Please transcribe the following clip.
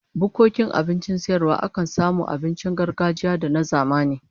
Bukkokin abincin sayarwa akan samu abincin gargajiya da na zamani